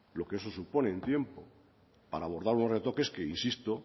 lo que eso supone en tiempo para abordar los retoques que insisto